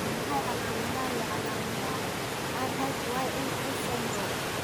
Waa maxay calaamadaha iyo calaamadaha RHYNS syndrome?